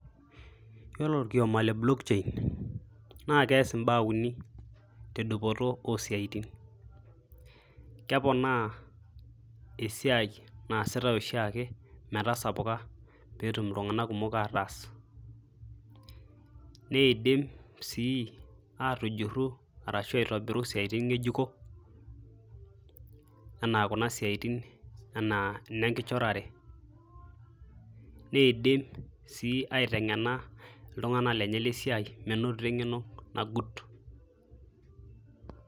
Yiolo orkioma le block chain naa keas imbaa uni tedupoto osiatin. Keponaa esiai naasitae oshiaake metasapuka petum iltunganak kumok ataas .Nidim sii atujuru arashu aitobiru isiatin ngejuko anaa kuna siatin anaa ine nkichorare . Nidim sii aitengena iltunganak lenye le siai menotito esiaii nagut.